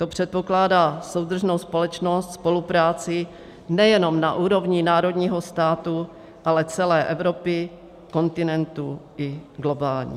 To předpokládá soudržnou společnost, spolupráci nejenom na úrovni národního státu, ale celé Evropy, kontinentu i globální.